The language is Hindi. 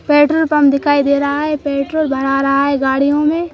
पेट्रोल पंप दिखाई दे रहा है पेट्रोल भरा रहा रहा है गाड़ियों में।